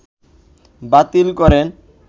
বাতিল করেন